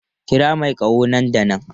Kira mai ƙaho nan da nan!